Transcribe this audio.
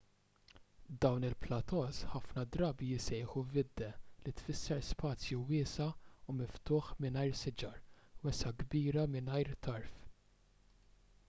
dawn il-plateaus ħafna drabi jissejħu vidde li tfisser spazju wiesa' u miftuħ mingħajr siġar wesgħa kbira mingħajr tarf